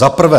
Za prvé.